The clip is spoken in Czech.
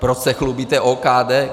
Proč se chlubíte OKD?